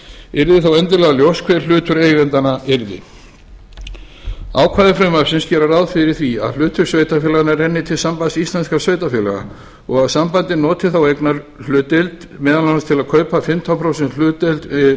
yrði þá endilega ljóst hver hlutur eigendanna yrði ákvæði frumvarpsins gera ráð fyrir því að hlutur sveitarfélaganna renni til sambands íslenskum sveitarfélaga og að sambandið noti þá eignarhlutdeild meðal annars til að kaupa fimmtán prósenta hlutdeild